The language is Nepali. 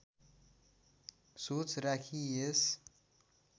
सोच राखी यस